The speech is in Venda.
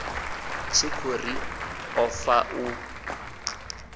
tshikhou ri o fanga u